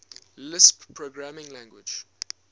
lisp programming language